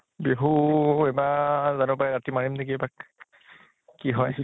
বিহু এইবাৰ জানো পাই ৰাতি মাৰিম নেকি এপাক । কি হয় ।